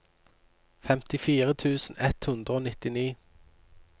femtifire tusen ett hundre og nittini